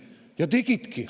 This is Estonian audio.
Ja tegidki!